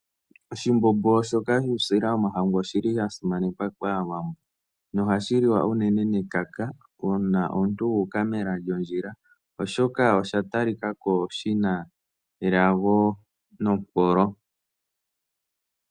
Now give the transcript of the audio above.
Oshimbombo shoka shuusila womahangu oshi li sha simanekwa kAawambo nohashi liwa unene nekaka uuna omuntu wu uka mela lyondjila, oshoka osha talika ko shi na elago nompolo.